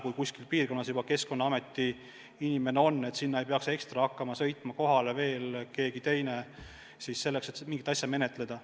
Kui kuskil piirkonnas juba Keskkonnaameti inimene on, siis sinna ei peaks ekstra hakkama sõitma kohale veel keegi teine selleks, et mingit asja menetleda.